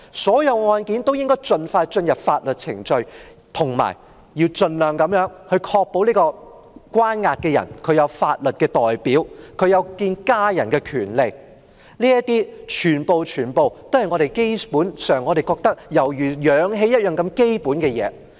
所有案件均應該盡快進入法律程序，以及盡量確保被關押的人有法律代表，有見家人的權利，這些全是我們認為如氧氣般基本的東西。